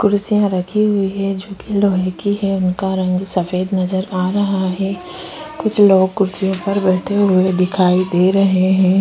कुर्सियाँ रखी हुई है जोकि लोहे की है उनका रंग सफेद नजर आ रहा है। कुछ लोग कुर्सियों पर बैठे हुए दिखाई दे रहे हैं।